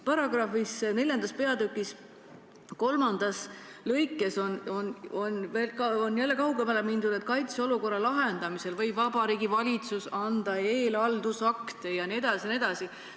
Neljanda peatüki § 29 lõikes 3 on kaugemale mindud ja öeldud, et kaitseolukorra lahendamisel võib Vabariigi Valitsus otsustada eelhaldusaktiga meetmeid rakendada.